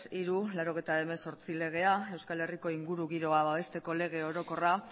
hiru barra laurogeita hemezortzi legea euskal herriko inguru giroa babesteko lege orokorra